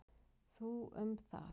Þú um það.